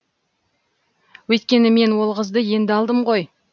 өйткені мен ол қызды енді алдым ғой